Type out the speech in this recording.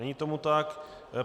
Není tomu tak.